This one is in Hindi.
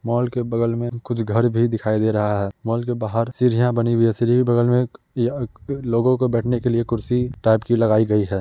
मॉल के बगल में कुछ घर भी दिखाई दे रहा है। मॉल के बाहर सीढियाँ बनी हुई हैं। सीढी के बगल में एक या क लोगों के बैठने के लिए कुर्सी टाइप की लगायी गयी है।